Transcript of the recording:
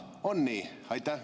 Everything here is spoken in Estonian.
On nii?